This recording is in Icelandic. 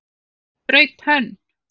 Ég braut tönn!